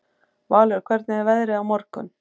Valur, hvernig er veðrið á morgun?